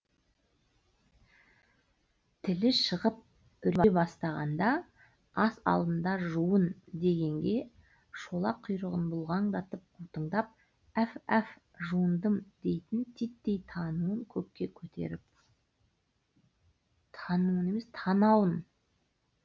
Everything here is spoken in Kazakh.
тілі шығып үре бастағанда ас алдында жуын дегенге шолақ құйрығын бұлғаңдатып қутыңдап әф әф жуындым дейтін титтей тануын көкке көтеріп